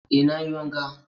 Eh nayi wanka